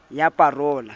ya pa role ya ho